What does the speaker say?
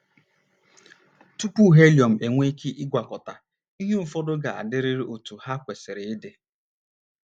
Tupu helium enwee ike ịgwakọta, ihe ụfọdụ ga - adịrịrị otú ha kwesịrị ịdị.